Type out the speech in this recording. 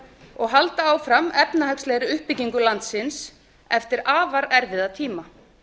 og halda þjóðarinnar og halda áfram efnahagslegri uppbyggingu landsins eftir afar erfiða tíma